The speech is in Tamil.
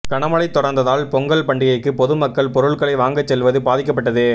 கனமழை தொடர்ந்ததால் பொங்கல் பண்டிகைக்கு பொது மக்கள் பொருள்களை வாங்கச்செல்வது பாதிக்கப்பட்டது